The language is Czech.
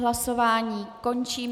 Hlasování končím.